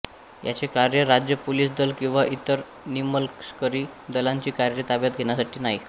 याचे कार्य राज्य पोलीस दल किंवा इतर निमलष्करी दलांची कार्ये ताब्यात घेण्यासाठी नाही